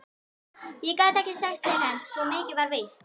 Ekki gat ég sagt til hans, svo mikið var víst.